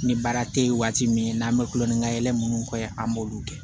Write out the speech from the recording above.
Ni baara te ye waati min n'an bɛ kulon ni ka yɛlɛ munnu kɛ an b'olu kɛ